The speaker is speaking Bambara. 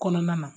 Kɔnɔna na